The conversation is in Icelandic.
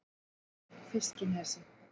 Fiskinesi